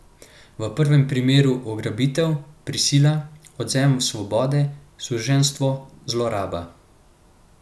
V prvem primeru ugrabitev, prisila, odvzem svobode, suženjstvo, zloraba.